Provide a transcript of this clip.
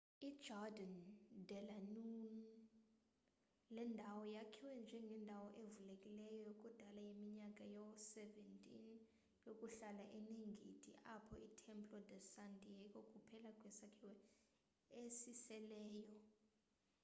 ijardín de la unión. le ndawo yakhiwa njengendawo evulekileyo yakudal yeminyaka yoo-17 yokuhlala oneengendi apho itemplo de san diego kuphela kwesakhiwo esiseleyo